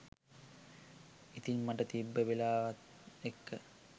ඉතින් මට තිබ්බ වෙලාවත් එක්ක